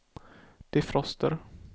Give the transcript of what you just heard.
defroster